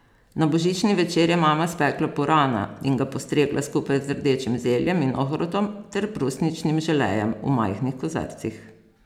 Na božični večer je mama spekla purana in ga postregla skupaj z rdečim zeljem in ohrovtom ter brusničnim želejem v majhnih kozarcih.